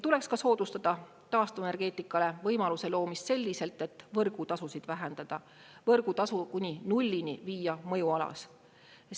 Tuleks ka soodustada taastuvenergeetikale võimaluse loomist selliselt, et võrgutasusid vähendada, võrgutasu kuni nullini viia mõjualas.